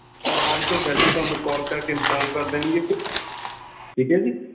ਓਰ ਆਉਣ ਤੋਂ ਪਹਿਲਾ ਥੋਨੂੰ ਕਾਲ ਕਰਕੇ inform ਕਰ ਦੇਣਗੇ ਠੀਕ ਆ ਜੀ।